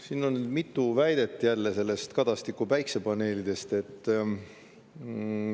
Siin oli jälle mitu väidet Kadastiku päikesepaneelide kohta.